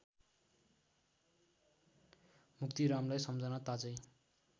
मुक्तिरामलाई सम्झना ताजै